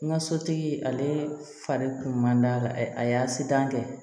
N ka sotigi ale fari kun man d'a la a y'a sitan kɛ